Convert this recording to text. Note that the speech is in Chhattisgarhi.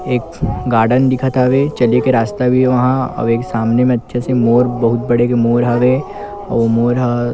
एक गार्डन दिखत हवे चले के रास्ता भी हे वहाँ अउ एक सामने में अच्छे से मोर बोहत बड़े मोर हवे अउ मोर ह--